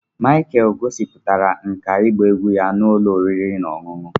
Michael gosipụtara nkà ịgba egwú ya n'ala ụlọ oriri na ọṅụṅụ